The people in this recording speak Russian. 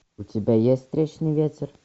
у тебя есть встречный ветер